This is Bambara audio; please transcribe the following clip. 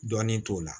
Dɔn t'o la